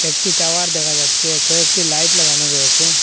একটি টাওয়ার দেখা যাচ্ছে কয়েকটি লাইট লাগানো রয়েসে।